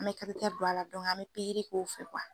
An mɛ don a la an mɛ pikiri k'o fɛ